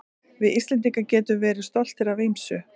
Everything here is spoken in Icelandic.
Við Íslendingar getum verið stoltir af ýmsu.